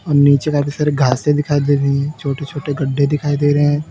और नीचे काफी सारे घासे दिखाई दे रही हैं छोटे छोटे गड्ढे दिखाई दे रहे--